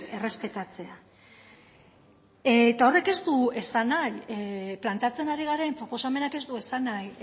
errespetatzea eta horrek ez du esan nahi planteatzen ari garen proposamenak ez du esan nahi